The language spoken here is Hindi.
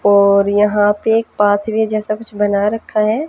और यहां पे एक पाथ वे जैसा कुछ बना रखा है।